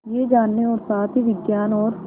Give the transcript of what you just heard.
यह जानने और साथ ही विज्ञान और